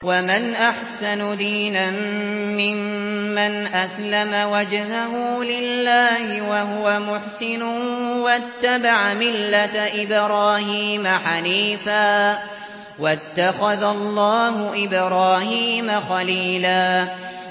وَمَنْ أَحْسَنُ دِينًا مِّمَّنْ أَسْلَمَ وَجْهَهُ لِلَّهِ وَهُوَ مُحْسِنٌ وَاتَّبَعَ مِلَّةَ إِبْرَاهِيمَ حَنِيفًا ۗ وَاتَّخَذَ اللَّهُ إِبْرَاهِيمَ خَلِيلًا